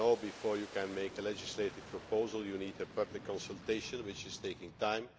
As you know, before you can make a legislative proposal you need a public consultation, which takes time.